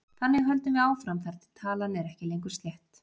Þannig höldum við áfram þar til talan er ekki lengur slétt.